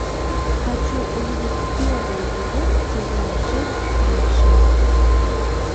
хочу увидеть первый эпизод сезона шесть бывшие